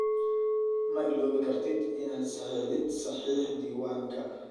Ma iloobi kartid inaad saxeexdid saxiix diiwaanka.